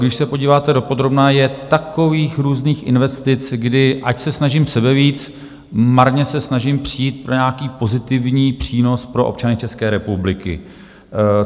Když se podíváte dopodrobna, je takových různých investic, kdy - ať se snažím sebevíc - marně se snažím přijít na nějaký pozitivní přínos pro občany České republiky.